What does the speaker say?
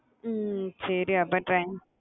ஹம் சரி அப்போ train